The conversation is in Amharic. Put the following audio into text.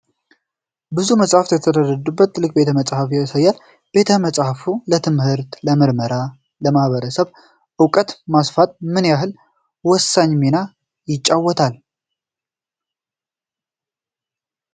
ብዙ መጻሕፍት የተደረደሩበት ትልቅ ቤተ መጻሕፍት ያሳያል። ቤተ መጻሕፍት ለትምህርት፣ ለምርምርና ለኅብረተሰብ ዕውቀት ማስፋት ምን ያህል ወሳኝ ሚና ይጫወታሉ ?